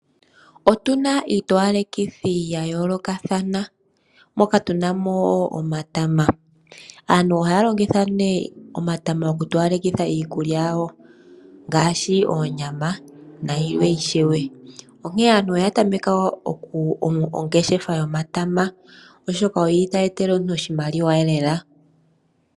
Otuna iitowalekithi ya yoolokathana, moka tuna mo woo omatama. Aantu ohaya longitha nee omatama oku towalekitha iikulya yawo ngaashi, oonyama na yilwe ishewe. Onkene aantu oya tameka ongeshefa yomatama oshoka oyili tayi etele omuntu oshimaliwa elela.